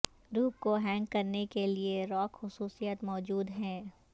روپ کو ہینگ کرنے کے لئے راک خصوصیات موجود ہیں